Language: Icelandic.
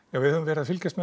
við höfum verið að fylgjast